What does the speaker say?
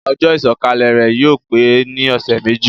Ojó ìsòkalè rè yio pe ni òsé méjì